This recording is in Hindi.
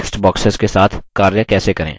text boxes के साथ कार्य कैसे करें